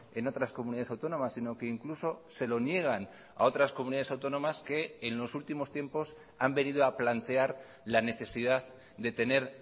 en otras comunidades autónomas sino que incluso se lo niegan a otras comunidades autónomas que en los últimos tiempos han venido a plantear la necesidad de tener